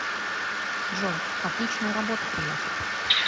джой отличная работа приятель